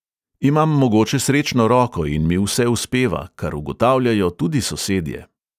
Imam mogoče srečno roko in mi vse uspeva, kar ugotavljajo tudi sosedje.